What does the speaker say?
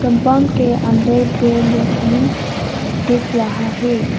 Bunk के अंदर पेड़ लोग भी दिख रहा है।